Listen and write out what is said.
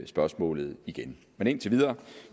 spørgsmålet igen men indtil videre